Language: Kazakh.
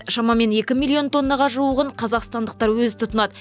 шамамен екі миллион тоннаға жуығын қазақстандықтар өзі тұтынады